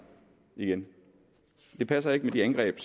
igen det passer ikke med de angreb